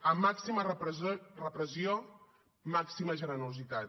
a màxima repressió màxima generositat